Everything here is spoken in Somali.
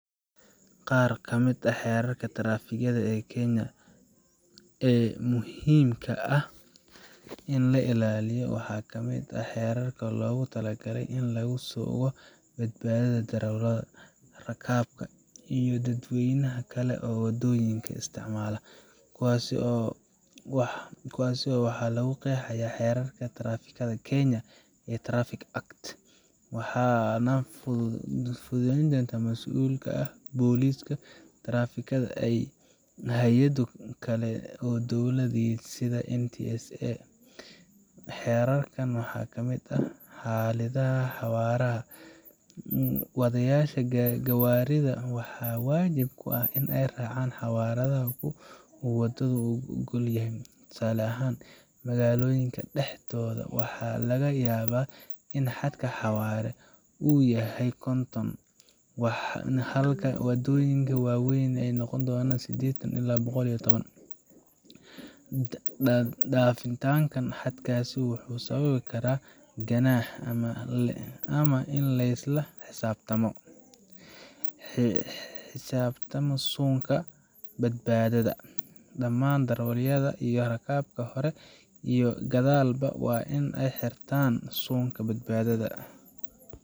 Qaar kamid ah xeerarka taraafikada ee Kenya ee muhiimka ah in la ilaaliyo waxaa ka mid ah xeerar loogu talagalay in lagu sugo badbaadada darawallada, rakaabka, iyo dadweynaha kale ee waddooyinka isticmaala. Kuwaas waxaa lagu qeexay Xeerka Taraafikada ee Kenya Traffic Act, waxaana fulintooda mas’uul ka ah booliska taraafikada iyo hay’ado kale oo dowladeed sida NTSA. Xeerarkan waxaa ka mid ah: Xadidaadda xawaaraha : Wadayaasha gawaarida waxaa waajib ku ah in ay raacaan xawaaraha uu waddadu oggol yahay. Tusaale ahaan, magaalooyinka dhexdeeda waxaa laga yaabaa in xadka xawaaraha uu yahay konton, halka waddooyinka waaweyn uu noqon karo siddeetan ilaa boqol iyo toban . Dhaafitaanka xadkaas wuxuu sababi karaa ganaax ama in laysla xisaabtamo sharciga hortiisa. Xidhashada suunka badbaadada: Dhamaan darawallada iyo rakaabka hore iyo gadaalba waa in ay xirtaan suunka badbaadada.